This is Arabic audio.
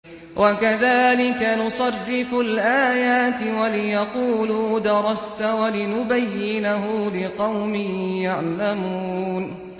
وَكَذَٰلِكَ نُصَرِّفُ الْآيَاتِ وَلِيَقُولُوا دَرَسْتَ وَلِنُبَيِّنَهُ لِقَوْمٍ يَعْلَمُونَ